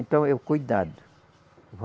Então, eu cuidado.